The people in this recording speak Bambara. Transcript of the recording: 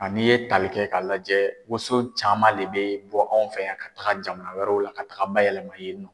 a n'i ye talikɛ ka lajɛ woson caman le bɛ bɔ anw fɛ yan ka taga jamana wɛrɛw la ka taga bayɛlɛma yen nɔ.